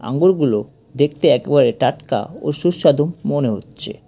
আঙুরগুলো দেখতে একবারে টাটকা ও সুস্বাদু মনে হচ্ছে।